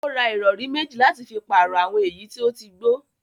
Ó ra ìrọ̀rí mẹ́jì láti fi pàrọ̀ àwọn èyí tí ó ti gbó